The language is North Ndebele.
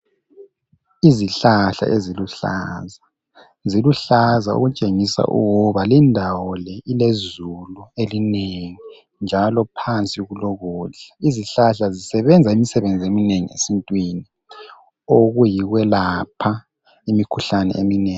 Izihlahla eziluhlaza, ziluhlaza okutshengisa ukuba lindawo le ilezulu elinengi njalo phansi kulokudla. Izihlahla zisebenza imisebenzi eminengi sibili okuyi kwelapha imikhuhlane eminengi